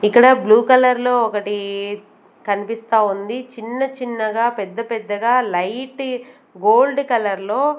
ఇక్కడ blue colour లో ఒకటి కనిపిస్తా ఉంది చిన్న చిన్నగా పెద్ద పెద్దగా లైట్ గోల్డ్ కలర్ లో.